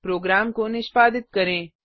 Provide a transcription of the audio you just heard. programme को निष्पादित करें